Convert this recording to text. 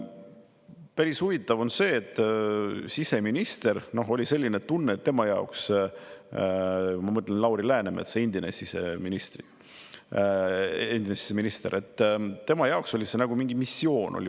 Päris huvitav on see, et siseministri jaoks – ma mõtlen Lauri Läänemetsa, endist siseministrit – oli see nagu mingi missioon.